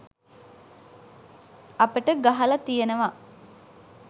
අපිට ගහල තියෙනව